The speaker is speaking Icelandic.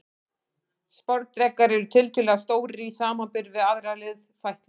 Sporðdrekar eru tiltölulega stórir í samanburði við aðrar liðfætlur.